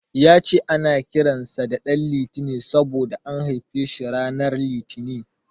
Ya ce ana kiran sa da Altine saboda an haife shi ranar Litinin.